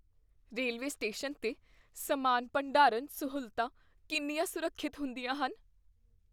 Railway station 'ਤੇ ਸਮਾਨ ਭੰਡਾਰਨ ਸਹੂਲਤਾਂ ਕਿੰਨੀਆਂ ਸੁਰੱਖਿਅਤ ਹੁੰਦੀਆਂ ਹਨ?